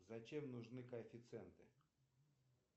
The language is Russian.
зачем нужны коэффициенты